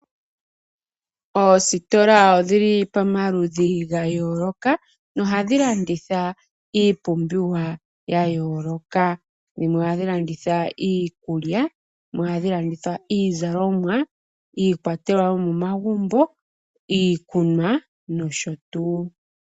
Oositola odhili pamaludhi ga yooloka nohadhi landitha iipumbiwa ya yooloka, dhimwe ohadhi landitha iikulya, dhimwe ohadhi landitha iizalomwa, iikwatelwa yomomagumbo, iikunwa noshotuu.